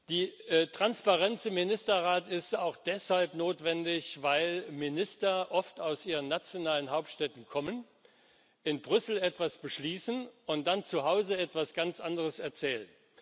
Die Transparenz im Ministerrat ist auch deshalb notwendig, weil Minister oft aus ihren nationalen Hauptstädten kommen, in Brüssel etwas beschließen und dann zu Hause etwas ganz anderes erzählen.